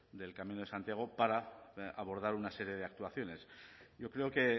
del camino de santiago para abordar una serie de actuaciones yo creo que